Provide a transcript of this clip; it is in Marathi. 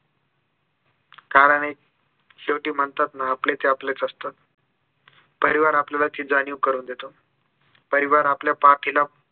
कारण हेच शेवटी म्हणतात ना आपले ते आपलेच असतात परिवार आपल्याया याची जाणीव करून देतो परिवार आपल्या पाठीला